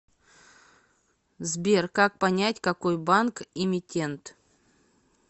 сбер как понять какой банк эмитент